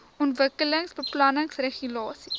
ontwikkelingsbeplanningregulasies